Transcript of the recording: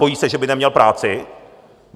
Bojí se, že by neměl práci?